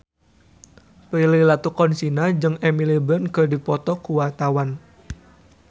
Prilly Latuconsina jeung Emily Blunt keur dipoto ku wartawan